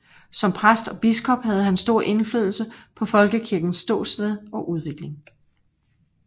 Som præst og biskop havde han stor indflydelse på Folkekirkens ståsted og udvikling